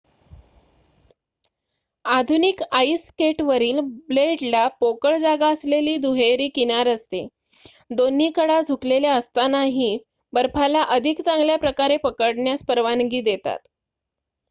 आधुनिक आईस स्केटवरील ब्लेडला पोकळ जागा असलेली दुहेरी किनार असते दोन्ही कडा झुकलेल्या असतानाही बर्फाला अधिक चांगल्याप्रकारे पकडण्यास परवानगी देतात